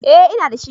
Eh ina da shi